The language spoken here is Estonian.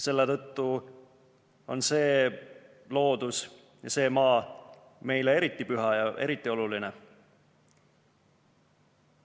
Meile on see loodus ja see maa eriti püha ja eriti oluline.